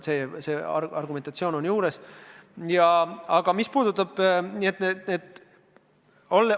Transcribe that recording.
See argument on siin juures.